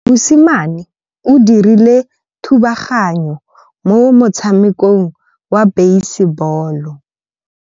Mosimane o dirile thubaganyô mo motshamekong wa basebôlô.